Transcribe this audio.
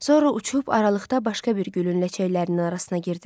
Sonra uçub aralıqda başqa bir gülün ləçəklərinin arasına girdi.